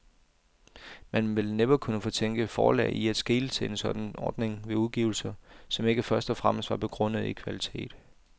Man ville næppe kunne fortænke forlag i at skele til en sådan ordning ved udgivelser, som ikke først og fremmest var begrundede i kvalitet.